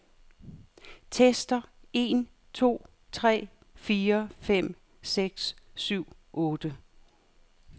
Tester en to tre fire fem seks syv otte.